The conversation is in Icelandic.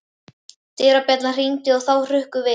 Dyrabjallan hringdi og þau hrukku við.